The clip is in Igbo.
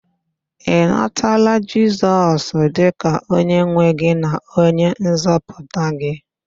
Ị natala Jisọs dịka onyenwe gị na onyenzọpụta gị?